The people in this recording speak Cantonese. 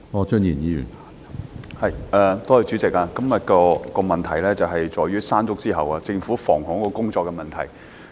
主席，今天的質詢是關於在"山竹"之後，政府在防洪工作上的問題。